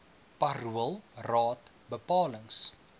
parool raad bepalings